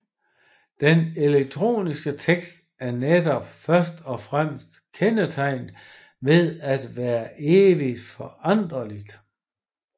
Den elektroniske tekst er netop først og fremmest kendetegnet ved at være evig foranderlig